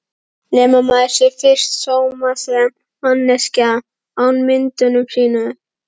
Nema maður sé fyrst sómasamleg manneskja án ímyndunar sinnar.